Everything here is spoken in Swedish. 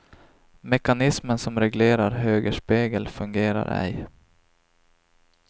Mekanismen som reglerar högerspegel fungerar ej.